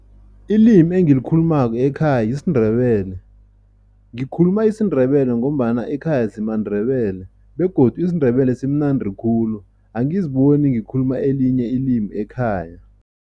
Ilimi engilikhulumako ekhaya yisiNdebele. Ngikhuluma isiNdebele ngombana ekhaya sImaNdebele begodu isiNdebele simnandi khulu, angiziboni ngikhuluma elinye ilimi ekhaya.